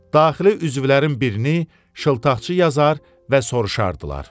Daxili üzvlərin birini şıltaqçı yazar və soruşardılar.